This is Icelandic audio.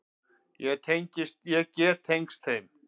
Ég get tengst þeim.